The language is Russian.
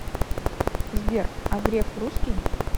сбер а греф русский